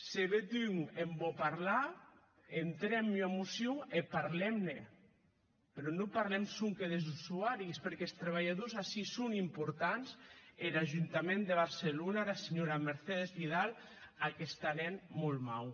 se bèth un en vò parlar entrem ua mocion e parlem ne mès non parlem sonque des usuaris perqué es trabalhadors ací son importants e er ajuntament de barcelona era senhora mercedes vidal ac està hènt molt mau